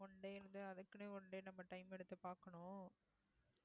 one day வந்து அதுக்குன்னே one day நம்ம time எடுத்து பாக்கணும்